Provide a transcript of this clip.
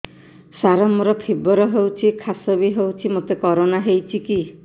ସାର ମୋର ଫିବର ହଉଚି ଖାସ ବି ହଉଚି ମୋତେ କରୋନା ହେଇଚି କି